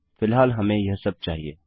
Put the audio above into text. फिलहाल हमें यह सब चाहिए